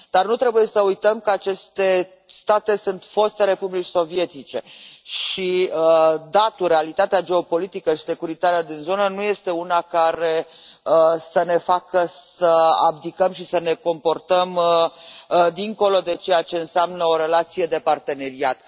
Nu trebuie să uităm că aceste state sunt foste republici sovietice și datul, realitatea geopolitică și securitatea din zonă nu este una care să ne facă să abdicăm și să ne comportăm dincolo de ceea ce înseamnă o relație de parteneriat.